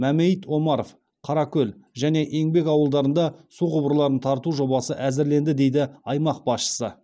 мәмәйіт омаров қаракөл және еңбек ауылдарында су құбырларын тарту жобасы әзірленді дейді аймақ басшысы